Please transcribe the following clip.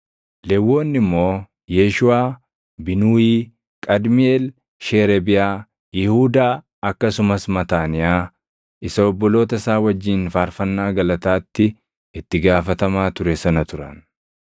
Lewwonni immoo Yeeshuuʼaa, Binuuyii, Qadmiiʼeel, Sheereebiyaa, Yihuudaa akkasumas Mataaniyaa isa obboloota isaa wajjin faarfannaa galataatti itti gaafatamaa ture sana turan.